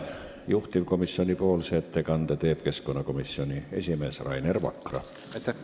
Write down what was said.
Juhtivkomisjoni ettekande teeb keskkonnakomisjoni esimees Rainer Vakra.